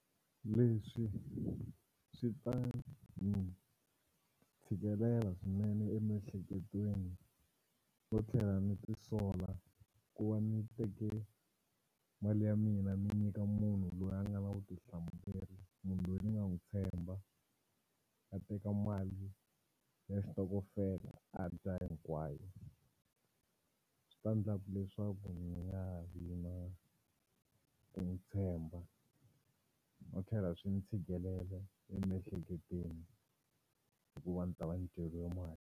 Leswi swi ta ni tshikelela swinene emiehleketweni no tlhela ni ti sola ku va ni teke mali ya mina ni nyika munhu loyi a nga na vutihlamuleri munhu loyi ni nga n'wi tshemba a teka mali ya xitokofela a dya hinkwayo. Swi ta endla ku leswaku ni nga ha vi na ku n'wi tshemba no tlhela swi ni tshikelela emiehleketweni hikuva ndzi ta va ni dyeriwe mali.